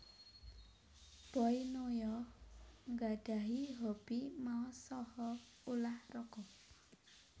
Boy Noya nggadhahi hobi maos saha ulah raga